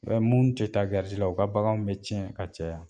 U bɛ mun tɛ taa garisi la u ka baganw bɛ tiɲɛ ka caya.